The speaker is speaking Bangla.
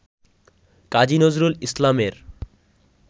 কাজী নজরুল ইসলামের